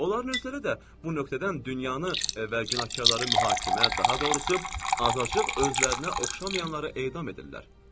Onların özləri də bu nöqtədən dünyanı və günahkarları mühakimə, daha doğrusu, azacıq özlərinə oxşamayanları edam edirlər.